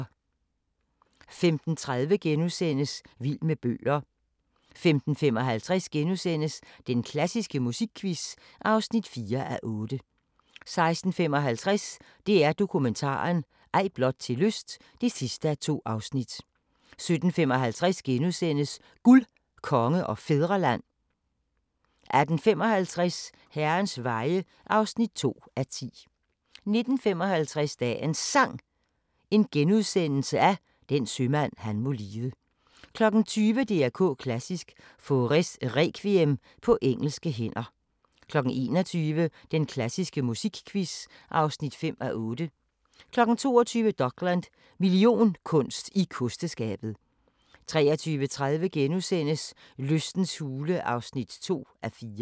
15:30: Vild med bøger * 15:55: Den klassiske musikquiz (4:8)* 16:55: DR Dokumentaren – Ej blot til lyst (2:2) 17:55: Guld, Konge og Fædreland * 18:55: Herrens Veje (2:10) 19:55: Dagens Sang: Den sømand han må lide * 20:00: DR K Klassisk: Faurés Requiem på engelske hænder 21:00: Den klassiske musikquiz (5:8) 22:00: Dokland: Millionkunst i kosteskabet 23:30: Lystens hule (2:4)*